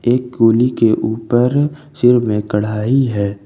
एक गोली के ऊपर सिर में कढ़ाई है।